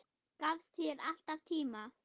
Gafst þér alltaf tíma.